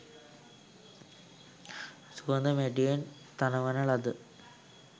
සුවඳ මැටියෙන් තනවන ලද